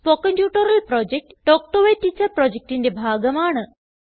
spoken tutorial project talk to a teacher പ്രൊജക്റ്റിന്റെ ഭാഗമാണ്